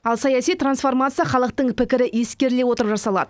ал саяси трансформация халықтың пікірі ескеріле отырып жасалады